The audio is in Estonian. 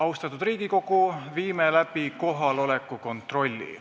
Austatud Riigikogu, viime läbi kohaloleku kontrolli.